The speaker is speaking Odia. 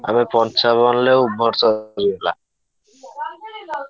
ଆମେ ପଞ୍ଚାବନରେ over shot ହେଇଗଲା ।